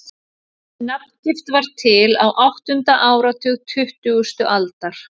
Þessi nafngift varð til á áttunda áratug tuttugustu aldar.